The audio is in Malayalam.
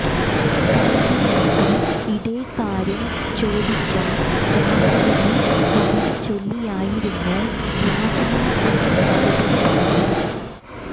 കഴിഞ്ഞ ദിവസം ഇതേ കാര്യം ചോദിച്ച രാഹുലിനെ കവിത ചൊല്ലിയായിരുന്നു രാജ്നാഥ് സിംഗ് മറുപടി പറഞ്ഞത്